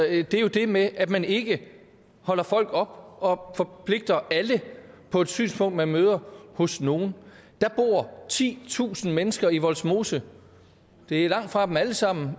er jo det med at man ikke holder folk op og forpligter alle på et synspunkt som man møder hos nogle der bor titusind mennesker i vollsmose det er langtfra dem alle sammen